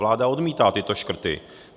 Vláda odmítá tyto škrty.